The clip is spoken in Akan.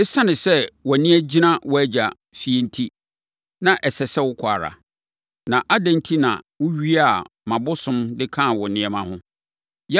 Esiane sɛ wʼani agyina wo agya fie enti, na ɛsɛ sɛ wokɔ ara, na adɛn enti na wowiaa mʼabosom, de kaa wo nneɛma ho?”